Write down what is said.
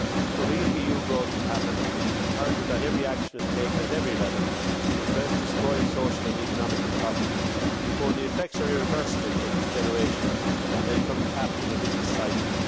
For real EU growth to happen it is imperative that every action is taken at every level to address this growing social and economic problem before the effects are irreversible for this generation and they become trapped in a vicious cycle.